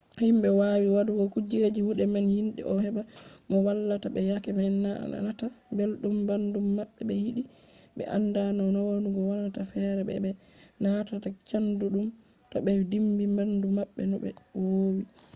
himɓe woowi waɗugo kujeji kuɗe man yiɗi no heɓa mo wallata ɓe yake ɓe na nataa belɗum ɓandu maɓɓe ɓe yiɗi ɓe anda no nawugo wonata fere be no ɓe nanata chaɗɗum to ɓe dimbi ɓandu maɓɓe no ɓe woowi